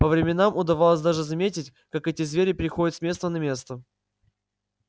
по временам удавалось даже заметить как эти звери переходят с места на место